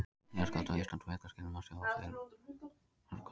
Jarðskjálfta á Íslandi og flekaskilin má sjá á meðfylgjandi kortum.